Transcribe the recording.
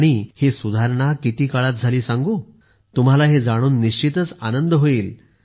आणि ही सुधारणा किती काळात झाली आहे सांगू का तुम्हाला हे जाणून निश्चितच आनंद होईल